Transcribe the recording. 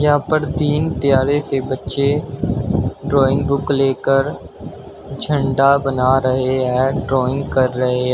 यहा पर तीन प्यारे से बच्चे ड्राइंग बुक लेकर झंडा बना रहे हैं ड्राइंग कर रहे--